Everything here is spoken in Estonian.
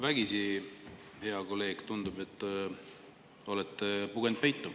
Vägisi, hea kolleeg, tundub, et olete pugenud peitu.